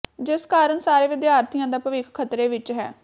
ਜਿਸ ਕਾਰਨ ਸਾਰੇ ਵਿਦਿਆਰਥੀਆਂ ਦਾ ਭਵਿੱਖ ਖਤਰੇ ਵਿਚ ਹੈ